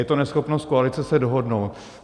Je to neschopnost koalice se dohodnout.